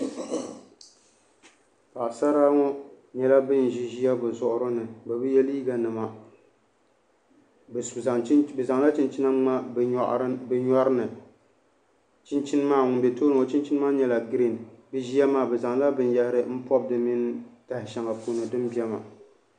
Paɣasara ŋɔ nyɛla bin ʒi ʒiya bi zuɣuri ni bi bi yɛ liiga nima bi zaŋla chinchina ŋmabi bi nyɔri ni chinchin maa ŋun bɛ tooni maa o chinchin maa nyɛla giriin bi zaŋla binyahari pobi taha shɛŋa puuni din bɛ maa